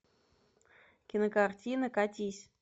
кинокартина катись